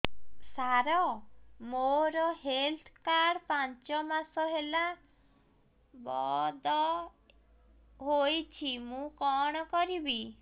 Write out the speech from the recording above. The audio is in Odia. ସାର ମୋର ହେଲ୍ଥ କାର୍ଡ ପାଞ୍ଚ ମାସ ହେଲା ବଂଦ ହୋଇଛି ମୁଁ କଣ କରିବି